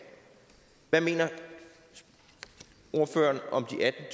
hvad mener ordføreren om